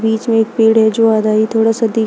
बीच में एक पेड़ है जो आधा ही थोड़ा सा दिख--